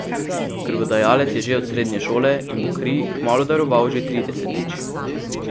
Krvodajalec je že od srednje šole in bo kri kmalu daroval že tridesetič.